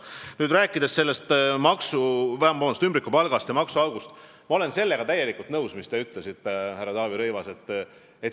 Kui nüüd rääkida ümbrikupalgast ja maksuaugust, siis ma olen täielikult nõus sellega, mis te ütlesite, härra Taavi Rõivas.